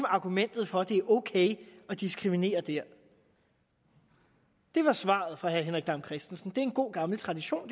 argumentet for at det er ok at diskriminere der det var svaret fra herre henrik dam kristensen det er en god gammel tradition